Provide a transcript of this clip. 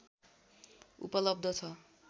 उपलब्ध छ